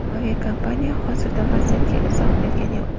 Aviakompaniya hozircha vaziyatga izoh bergani yo‘q.